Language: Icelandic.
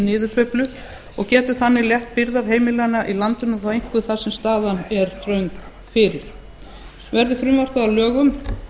niðursveiflu og getur þannig létt byrðar heimilanna í landinu þó einkum þar sem staðan er þröng fyrir verði frumvarpið að lögum